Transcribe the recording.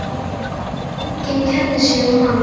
Enginn kærði sig um hann.